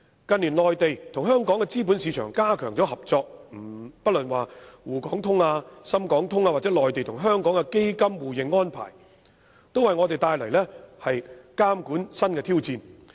近年，內地與香港資本市場加強合作，不論滬港通、深港通或內地與香港的基金互認安排，都為我們帶來新的監管挑戰。